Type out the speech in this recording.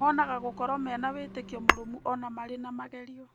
Monaga gũkorwo mena wĩtĩkio mũrũmu o na marĩ na magerio.